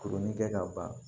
Kurunin kɛ ka ban